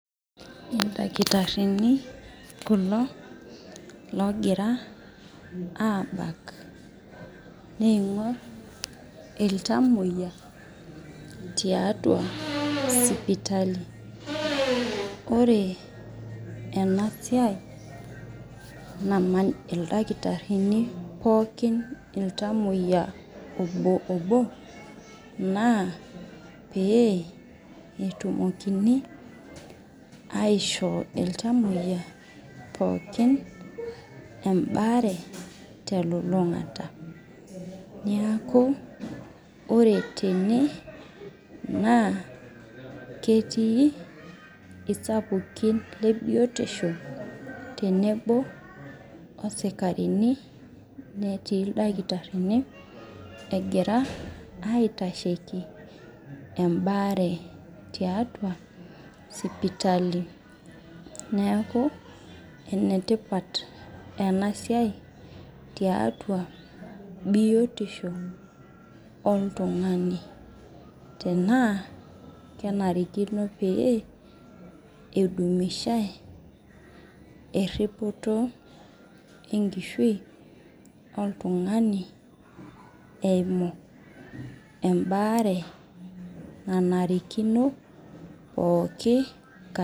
ildakitarini kulo logira abak ning'or ilntamuoyia tiatua sipitali ore ena siai naaman ildakitarini pookin ilntamuoyia obo naa pee etumokini aishoo ilntamuoyia pookin ebare telulung'ata neeku ore tene naa ketii isapukin le biotisho tenebo isikarini netii ildakitarini egiraaitasheki I bare tiatua sipitali neeku enetipat ena siai tiatua biotisho oltung'ani tenaa kenarikino pee eidumishai teripoto enkishui oltung'ani eyimu ebare nanariki pookin